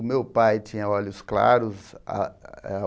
O meu pai tinha olhos claros. ah ah